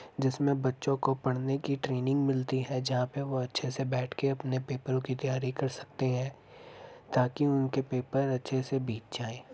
जिसमें बच्चों को पढ़ने की ट्रेनिंग मिलती है जहां पर वह बैठकर अपने पेपरो कि तैयारी कर सकते हैं ताकि उनके पेपर अच्छे से बीत जाए ।